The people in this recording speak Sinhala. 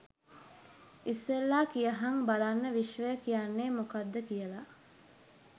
ඉස්සෙල්ලා කියහං බලන්න විශ්වය කියන්නේ මොකක්ද කියලා